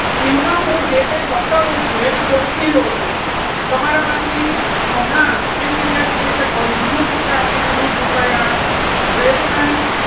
એમાં હું જે કંઈ બતાવું છું. એને ઓળખી લો છો. તમારામાંથી હમણાં એક વિદ્યાર્થીએ જે પરિઘ નું સૂત્ર આપી દીધું two pi rvery nice